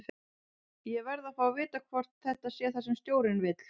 Ég verð að fá að vita hvort þetta sé það sem stjórinn vill?